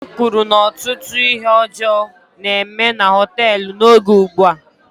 Nna m kwuru na ọtụtụ ihe ọjọọ na-eme na họteelụ n'oge ugbua